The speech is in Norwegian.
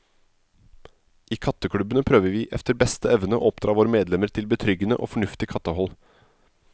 I katteklubbene prøver vi efter beste evne å oppdra våre medlemmer til betryggende og fornuftig kattehold.